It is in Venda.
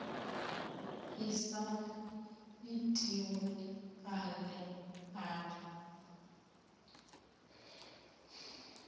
i sa itiwe ale ale